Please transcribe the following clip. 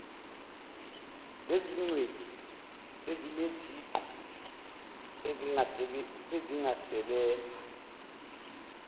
lezingcweti ezineziqu ezingasebenza